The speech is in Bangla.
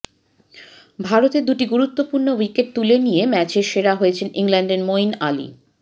ভারতের দুটি গুরুত্বপূর্ণ উইকেট তুলে নিয়ে ম্যাচের সেরা হয়েছেন ইংল্যান্ডের মইন আলি